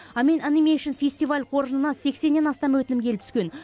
амен анимейшн фестивал қоржынына сексеннен астам өтінім келіп түскен